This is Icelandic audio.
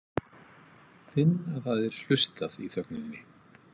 Finn að það er hlustað í þögninni.